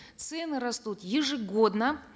цены растут ежегодно